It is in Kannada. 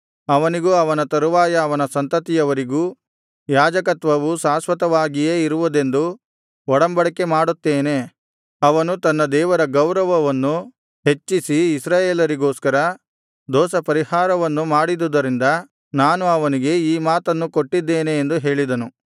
ಅವನಿಗೂ ಅವನ ತರುವಾಯ ಅವನ ಸಂತತಿಯವರಿಗೂ ಯಾಜಕತ್ವವು ಶಾಶ್ವತವಾಗಿಯೇ ಇರುವುದೆಂದು ಒಡಂಬಡಿಕೆ ಮಾಡುತ್ತೇನೆ ಅವನು ತನ್ನ ದೇವರ ಗೌರವವನ್ನು ಹೆಚ್ಚಿಸಿ ಇಸ್ರಾಯೇಲರಿಗೋಸ್ಕರ ದೋಷಪರಿಹಾರವನ್ನು ಮಾಡಿದುದರಿಂದ ನಾನು ಅವನಿಗೆ ಈ ಮಾತನ್ನು ಕೊಟ್ಟಿದ್ದೇನೆ ಎಂದು ಹೇಳಿದನು